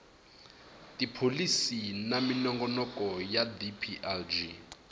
tipholisi na minongonoko ya dplg